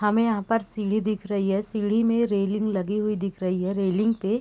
हमें यहाँ पर सीढ़ी दिख रही है | सीढ़ी में रेलिंग लगी हुई दिख रही है | रेलिंग पे --